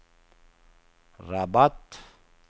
Rabat